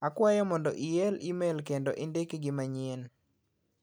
Akwayo mondo iel imel kendo indik gi manyien.